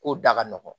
Ko da ka nɔgɔn